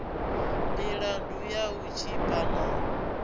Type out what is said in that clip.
milandu ya u tshipa na